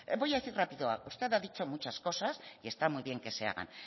voy a decir rápido usted ha dicho muchas cosas y está muy bien que se hagan